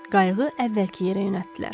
Qayığı əvvəlki yerə yönəltdilər.